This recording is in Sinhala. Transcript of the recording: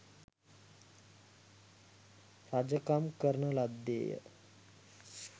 රජකම් කරන ලද්දේ ය.